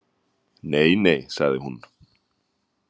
Nei nei, sagði hún.